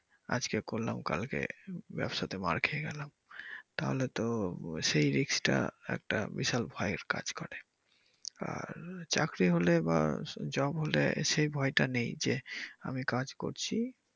আজকে করলাম কালকে ব্যবসা তে মার খেয়ে গেলাম তাহলে তো সেই risk টা একটা বিশাল ভয়ের কাজ করে আর চাকরি হলে বা job হলে সে ভয়টা নেই, যে আমি কাজ করছি।